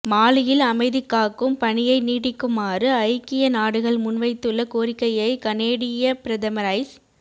மாலியில் அமைதிகாக்கும் பணியை நீடிக்குமாறு ஐக்கிய நாடுகள் முன்வைத்துள்ள கோரிக்கையை கனேடிய பிரதமர் ஜஸ்